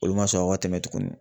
Olu ma sɔn aw ka tɛmɛ tugunni.